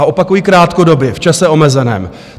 A opakuji - krátkodobě, v čase omezeném.